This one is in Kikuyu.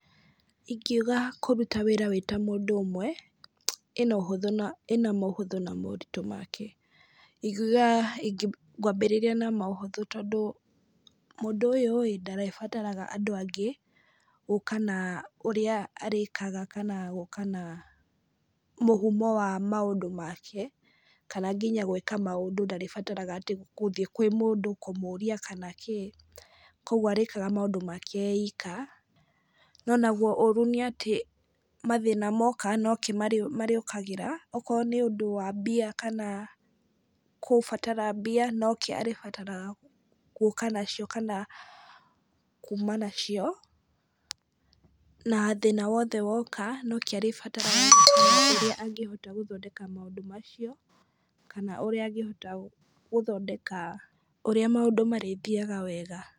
Ingiuga kũruta wĩra wĩ ta mũndũ ũmwe, ĩna ũhũthũ na ĩna mũhũthũ na moritũ make. Ingiuga ngwambĩrĩria na mũhũthũ tondũ, mũndũ ũyũ ĩĩ, ndarĩbataraga andũ angĩ, gũka na ũrĩa arĩkaga kana gũka na mũhumo wa maũndũ make, kana nginya gwĩka maũndũ ndarĩbataraga atĩ gũthiĩ kwĩ mũndũ kũmũria kana kĩ. Kũguo arĩkaga maũndũ make ee iika. No naguo ũũru nĩ atĩ, mathĩna moka no ke marĩũkagĩra. Okorwo nĩ ũndũ wa mbia kana kubatara mbia, no ke arĩbataraga gũka nacio kana kuuma nacio. Na thĩna wothe woka, no ke arĩbataraga na mbia irĩa angĩhota gũthondeka maũndũ macio, kana ũrĩa angĩhota gũthondeka ũrĩa maũndũ marĩthiaga wega.